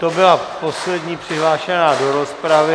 To byla poslední přihlášená do rozpravy.